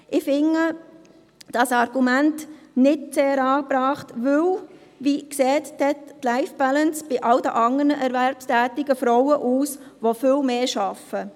Ich finde dieses Argument nicht sehr angebracht, denn: Wie sieht denn die Life-Balance bei allen anderen erwerbstätigen Frauen aus, die viel mehr arbeiten?